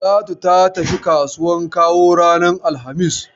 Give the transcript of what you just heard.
Talatu ta tafi kasuwan Kawo ranar alhamis.